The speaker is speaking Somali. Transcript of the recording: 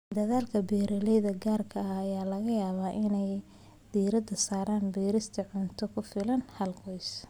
Dadaalka beeralayda gaarka ah ayaa laga yaabaa inay diiradda saaraan beerista cunto ku filan hal qoys.